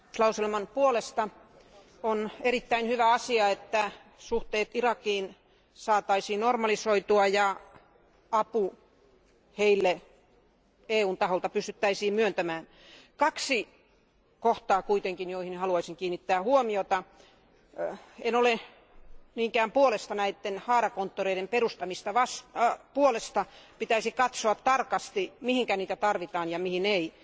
Arvoisa puhemies, äänestin päätöslauselman puolesta. On erittäin hyvä asia, että suhteet Irakiin saataisiin normalisoitua ja apu heille EUn taholta pystyttäisiin myöntämään. Kaksi kohtaa kuitenkin, joihin haluaisin kiinnittää huomiota. En ole niinkään näiden haarakonttoreiden perustamisen puolesta. Pitäisi katsoa tarkasti mihin niitä tarvitaan ja mihin ei.